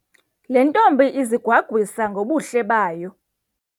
Le ntombi izigwagwisa ngobuhle bayo.